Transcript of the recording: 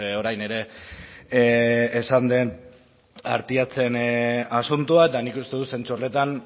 orain ere esan den artiachen asuntoa eta nik uste dut zentzu horretan